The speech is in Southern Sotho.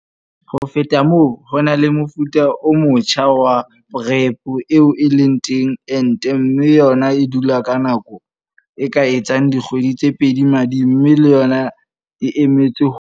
Ho feta moo, ho na le mofuta o motjha wa PrEP eo e leng ente mme yona e dula nako e ka etsang dikgwedi tse pedi mading mme le yona e emetse ho.